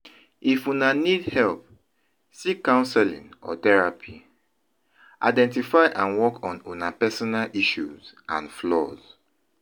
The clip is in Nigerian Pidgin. If una need need help, seek counseling or therapy; identify and work on una personal issues and flaws.